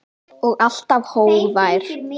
Og alltaf hógvær.